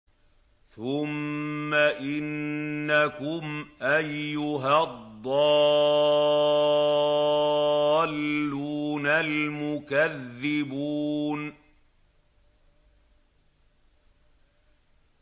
ثُمَّ إِنَّكُمْ أَيُّهَا الضَّالُّونَ الْمُكَذِّبُونَ